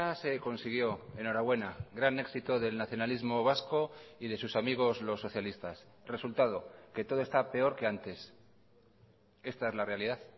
se consiguió enhorabuena gran éxito del nacionalismo vasco y de sus amigos los socialistas resultado que todo está peor que antes esta es la realidad